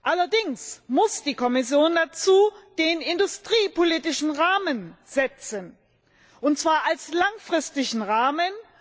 Allerdings muss die Kommission dazu den industriepolitischen Rahmen setzen, und zwar als langfristigen Rahmen.